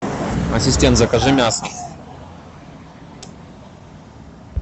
ассистент закажи мясо